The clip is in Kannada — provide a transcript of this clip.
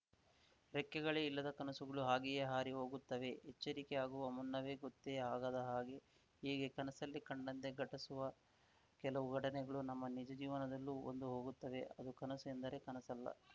ರೆಕ್ಕೆಗಳೇ ಇಲ್ಲದ ಕನಸುಗಳು ಹಾಗೆಯೇ ಹಾರಿ ಹೋಗಿರುತ್ತವೆ ಎಚ್ಚರಿಕೆ ಆಗುವ ಮುನ್ನವೇ ಗೊತ್ತೇ ಆಗದ ಹಾಗೆ ಹೀಗೆ ಕನಸಲ್ಲಿ ಕಂಡಂತೆ ಘಟಸುವ ಕೆಲವು ಘಟನೆಗಳು ನಮ್ಮ ನಿಜ ಜೀವನದಲ್ಲೂ ಬಂದು ಹೋಗುತ್ತವೆ ಅದು ಕನಸು ಎಂದರೆ ಕನಸಲ್ಲ